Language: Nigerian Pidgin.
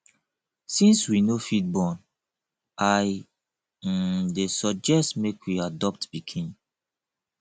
since we no fit born i um dey suggest say we adopt pikin